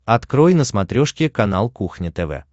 открой на смотрешке канал кухня тв